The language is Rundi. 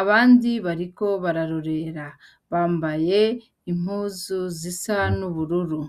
abandi bariko bararorera bambaye impuzu zisa n'ubururu.